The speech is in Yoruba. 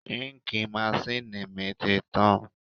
Ínkìì masínìì mi ti tán